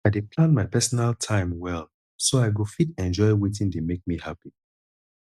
i dey plan my personal time well so i go fit enjoy wetin dey make me happy